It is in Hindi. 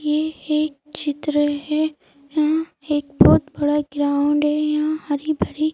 ये एक चित्र है यहां एक बहुत बड़ा ग्राउंड है यहां हरी भरी--